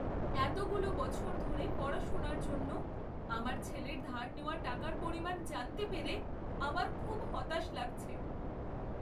এতগুলো বছর ধরে পড়াশোনার জন্য আমার ছেলের ধার নেওয়া টাকার পরিমাণ জানতে পেরে আমার খুব হতাশ লাগছে।